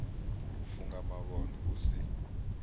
u funga mavhone hu si